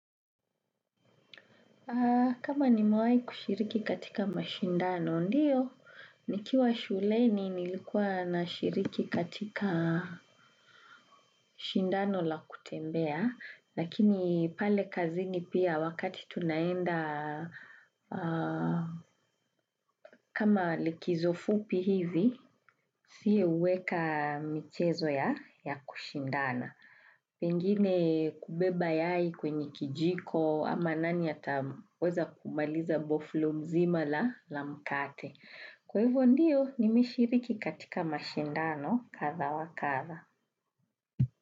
Kama nimewai kushiriki katika mashindano ndiyo, nikiwa shuleni nilikuwa na shiriki katika shindano la kutembea. Lakini pale kazini pia wakati tunaenda kama likizo fupi hivi, si uweka michezo ya kushindana. Pengine kubeba yai kwenye kijiko ama nani ataweza kumaliza boflo mzima la la mkate. Kwa hivyo ndiyo nimeshiriki katika mashindano katha wa katha.